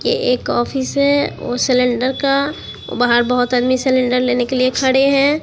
ये एक ऑफिस है सिलेंडर का बाहर बहोत आदमी सिलेंडर लेने के लिए खड़े हैं।